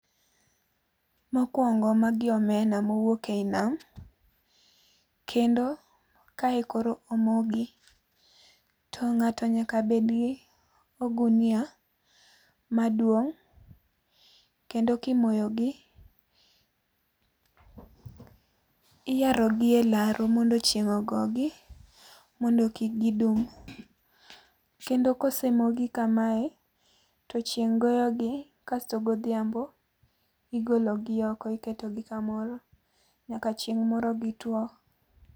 Mokuongo magi omena mowuok ei nam kendo kae koro omogi. To ng'ato nyaka bed gi ogunia maduong' kendo kimoyogi iyarogi elaro mondo chieng' ogogi mondo kik gidum. Kendo kosemogi kamae, to chieng' gogi kasto godhiambo igolo oko iketogi kamoro, nyaka chieng' moro gitwo